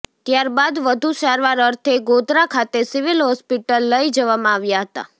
ત્યારબાદ વધુ સારવાર અર્થે ગોધરા ખાતે સિવિલ હોસ્પિટલ લઇ જવામાં આવ્યા હતા